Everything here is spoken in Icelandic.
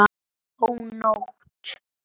Ó, nótt!